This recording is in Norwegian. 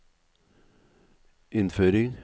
innføring